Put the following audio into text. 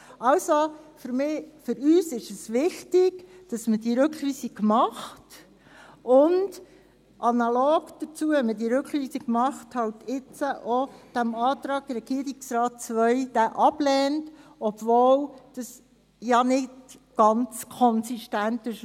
Also: Für uns ist es wichtig, dass man diese Rückweisung macht und – wenn man diese Rückweisung macht – analog dazu den Antrag Regierungsrat II halt jetzt ablehnt, obwohl das nicht ganz konsistent ist.